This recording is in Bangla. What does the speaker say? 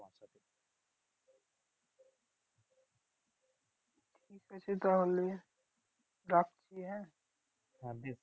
ঠিক আছে তাহলে রাখছি হ্যাঁ?